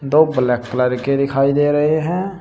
दो black colour के दिखाई दे रहे हैं।